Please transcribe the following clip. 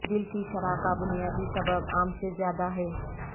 دل کی شرح کا بنیادی سبب عام سے زیادہ ہے